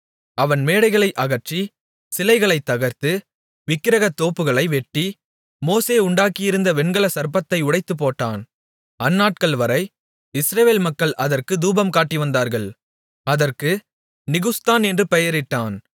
அவன் மேடைகளை அகற்றி சிலைகளைத் தகர்த்து விக்கிரகத்தோப்புகளை வெட்டி மோசே உண்டாக்கியிருந்த வெண்கலச் சர்ப்பத்தை உடைத்துப்போட்டான் அந்நாட்கள்வரை இஸ்ரவேல் மக்கள் அதற்குத் தூபம் காட்டிவந்தார்கள் அதற்கு நிகுஸ்தான் என்று பெயரிட்டான்